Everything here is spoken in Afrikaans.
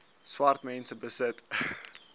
swart mense besit